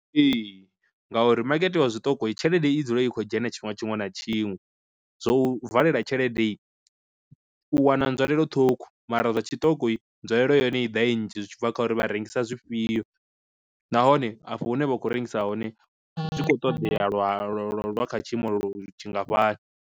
Ee ngauri makete wa zwiṱoko tshelede i dzula i kho dzhena tshifhinga tshiṅwe na tshiṅwe, zwo u valela tsheledei u wana nzwalelo ṱhukhu mara zwa tshiṱoko nzwalelo ya hone i ḓa i nnzhi zwi tshi bva kha uri vha rengisa zwifhio, nahone afho hune vha khou rengisa hone zwi khou ṱoḓea lwa lwa lwo lwa kha tshiimo tshi ngafhani.